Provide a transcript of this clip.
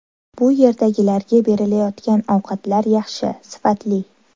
Bu yerdagilarga berilayotgan ovqatlar yaxshi, sifatli.